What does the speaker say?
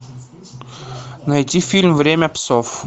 найти фильм время псов